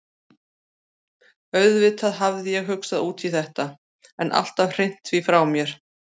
Auðvitað hafði ég hugsað út í þetta, en alltaf hrint því frá mér.